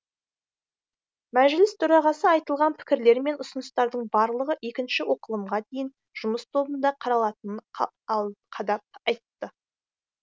мәжіліс төрағасы айтылған пікірлер мен ұсыныстардың барлығы екінші оқылымға дейін жұмыс тобында қаралатынын қадап айтты